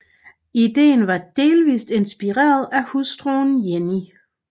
Ideen var delvist inspireret af hustruen Jenny